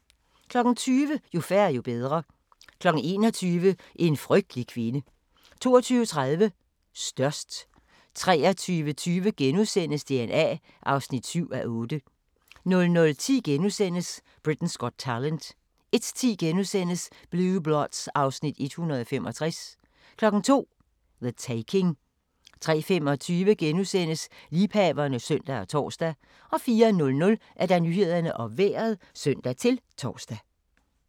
20:00: Jo færre, jo bedre 21:00: En frygtelig kvinde 22:30: Størst 23:20: DNA (7:8)* 00:10: Britain's Got Talent * 01:10: Blue Bloods (Afs. 165)* 02:00: The Taking 03:25: Liebhaverne (søn og tor) 04:00: Nyhederne og Vejret (søn-tor)